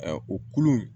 Ɛ o kulu